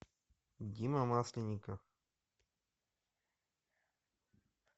дима масленников